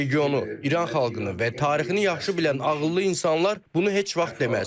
Regionu, İran xalqını və tarixini yaxşı bilən ağıllı insanlar bunu heç vaxt deməz.